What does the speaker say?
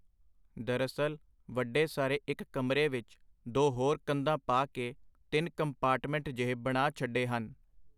ਦਰਅਸਲ, ਵੱਡੇ ਸਾਰੇ ਇਕ ਕਮਰੇ ਵਿਚ ਦੋ ਹੋਰ ਕੰਧਾਂ ਪਾ ਕੇ ਤਿੰਨ ਕੰਪਾਰਟਮੈਂਟ ਜਿਹੇ ਬਣਾ ਛੱਡੇ ਹਨ.